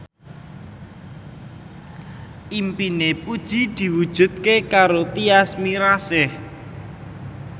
impine Puji diwujudke karo Tyas Mirasih